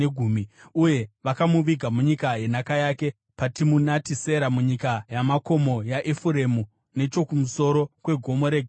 Uye vakamuviga munyika yenhaka yake, paTimunati Sera, munyika yamakomo yaEfuremu, nechokumusoro kweGomo reGaashi.